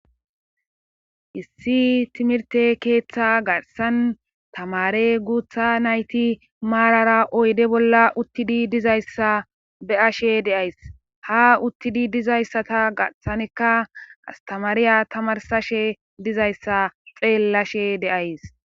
Issi timirte keeththa garsan tamare guutha nayti maarara oyde bolla uttidi dizayssa be'ashe deays ha uttidi dizayssata garhsanekka astamaariya tamarsashe dizayssa xeellashe de'ays